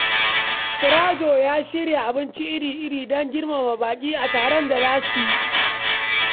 Sirajo ya shirya abinci iri-iri don girmama baƙi a taron da za su yi.